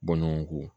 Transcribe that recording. Bɔnɔnko